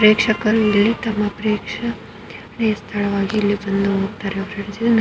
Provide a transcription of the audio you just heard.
ಸ್ಥಳವಾಗಿದೇ night ತುಂಬಾ ಚೆನ್ನಾಗಿರುತ್ತೆ friends ಸುತ್ತ ಗಾರ್ಡೆನಿಂಗ್ ಕೂಡ ಇದೆ .